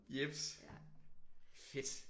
Jeps. Fedt